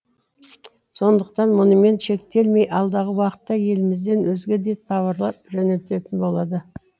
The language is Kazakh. сондықтан мұнымен шектелмей алдағы уақытта елімізден өзге де тауарлар жөнелтілетін болады